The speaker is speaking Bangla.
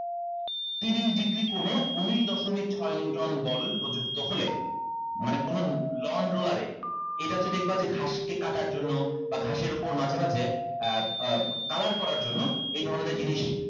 তিরিশ degree কোণে উনিশ দশমিক ছয় neuton বল প্রযুক্ত হলে মানে কোনো lawn roller এ এটা হচ্ছে দেখবা যে ঘাস কে কাটার জন্য বা ঘাসের উপর মাঝে মাঝে color করার জন্য এই ধরণের জিনিস